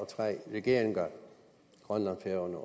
tre regeringer grønland færøerne